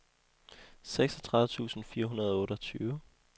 seksogtredive tusind fire hundrede og otteogtyve